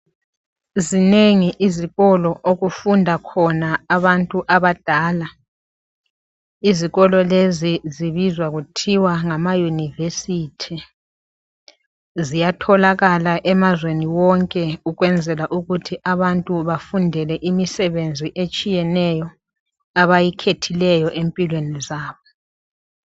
zinengi izikolo okufunda khona abantu abadala izikolo lezi zibizwa kuthiwa ngama university ziyatholakala emazweni wonke ukwenzela ukuthi abantu bafundele imisebenzi etshiyeneyo abayikhethileyo empilweni zabo